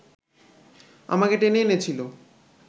আমাকে টেনে এনেছিল